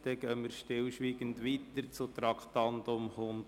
Somit gehen wir weiter zum Traktandum 102.